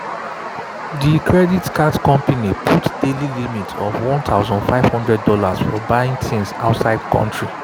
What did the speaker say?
de credit card company put daily limit of one thousand five hundred dollars for buying things from outside country.